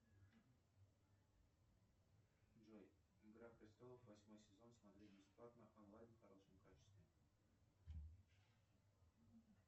джой игра престолов восьмой сезон смотреть бесплатно онлайн в хорошем качестве